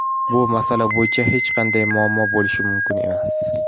Bu masala bo‘yicha hech qanday muammo bo‘lishi mumkin emas”.